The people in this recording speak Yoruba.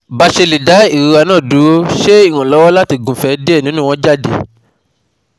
Basele da irora na duro, se iranlowo lati gunfe die ninu won jade?